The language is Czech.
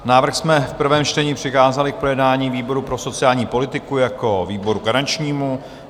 Návrh jsme v prvém čtení přikázali k projednání výboru pro sociální politiku jako výboru garančnímu.